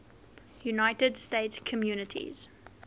united states communities